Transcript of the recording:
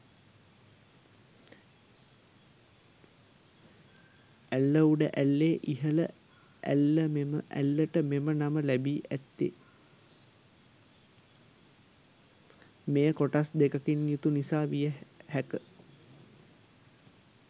ඇල්ල උඩ ඇල්ලේ ඉහළ ඇල්ලමෙම ඇල්ලට මෙම නම ලැබී ඇත්තේ මෙය කොටස් දෙකකින් යුතු නිසා විය හැක